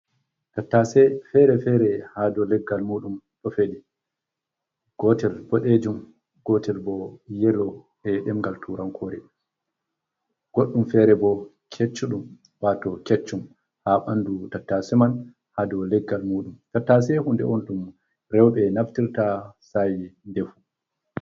Tattase fere-fere ha do leggal muɗum ɗo feɗi gotel boɗejum gotel bo yelo ha ɗemngal turankore, goɗɗum fere bo keccuum wato keccum ha ɓandu tattase man ha dou leggal muɗum, tattase hunde on ɗum rewɓe naftirta sa'i defugo.